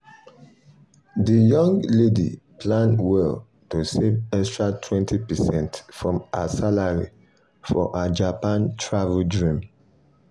the young lady plan well to save extra 20 percent from her salary for her japan travel dream.